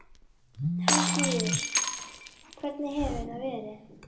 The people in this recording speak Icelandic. Helgi Vífill: Hvernig hefur það verið?